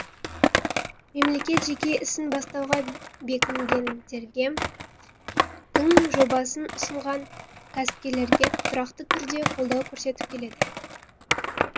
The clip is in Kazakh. мемлекет жеке ісін бастауға бекінгендерге тың жобасын ұсынған кәсіпкерлерге тұрақты түрде қолдау көрсетіп келеді